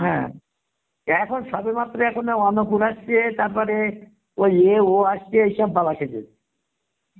হ্যাঁ, এখন সবে মাত্র, এখন অন্নপূর্ণা এসেছে তারপরে, ওই এ ও আসছে সব